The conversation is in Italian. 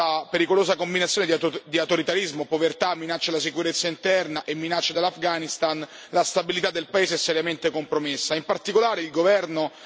Purtroppo, in questa pericolosa combinazione di autoritarismo, povertà, minacce alla sicurezza interna e minacce dall'Afghanistan, la stabilità del paese è seriamente compromessa.